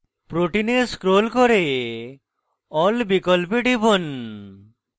protein এ scroll করে all বিকল্পে টিপুন